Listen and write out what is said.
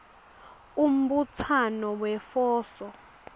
umbutsano wefoso